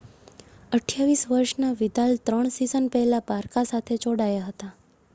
28 વર્ષના વિદાલ ત્રણ સિઝન પહેલા બારકા સાથે જોડાયા હતા